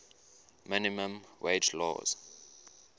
minimum wage laws